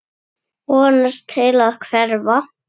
Vonast til að hverfa.